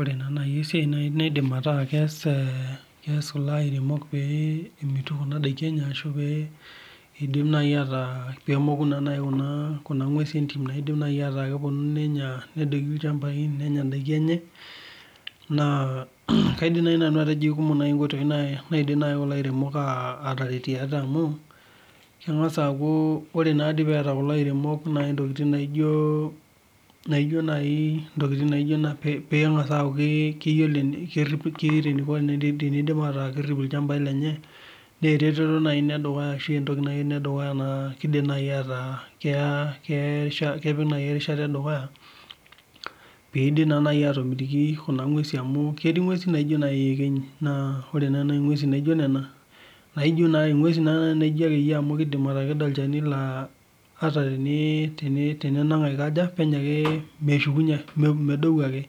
Ore na nai esiai naibnaidim ataa keas kulo airemok pemitu enadaa enye na idim nai ataa pemoku kuna ngwesi indim nai nenya ndakini enye nakaidim ajo kekumok nkoitoi naidim kulo airemok ataretie ate amu kemgasa aaku ore peeta kulo airemok ntokitin naijo keeta eniko perip ilchambai lenye na eretoto nai edukuya na kepik nai erishata na ketii ngwesi naijo iyekenyi naijo nona na kidim atekejdo olchani meshukunye ake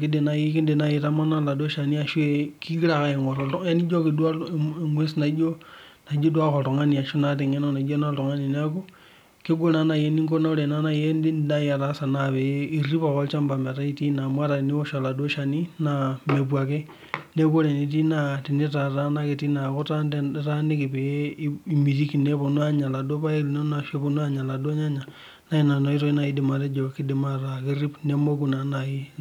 kidim nai aitamanaa oladuo shani amu emgwes naata engeno oltungani neaky kegol nai eniko ore nai enidim ataasa na pirip ake olchamba lino amu ata nye eniwosh oladuo shani mepuo ake neaku orw enitii neaku itaaniki peponu aya laduo nyannya na inatoki nai aidem atejo kidim arip nemoku.